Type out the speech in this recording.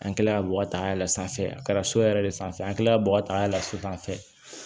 An kilala ka bɔgɔ ta yɛlɛn sanfɛ a kɛra so yɛrɛ de sanfɛ an kilala bɔgɔ ta yɛlɛn so sanfɛ